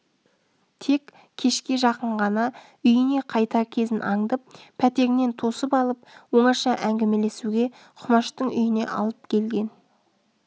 тек кешке жақын ғана үйіне қайтар кезін аңдып пәтерінен тосып алып оңаша әңгімелесуге құмаштың үйіне алып келген